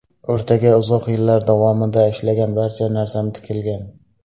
O‘rtaga uzoq yillar davomida ishlagan barcha narsam tikilgan.